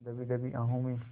दबी दबी आहों में